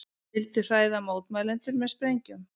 Vildu hræða mótmælendur með sprengjum